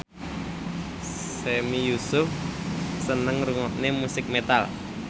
Sami Yusuf seneng ngrungokne musik metal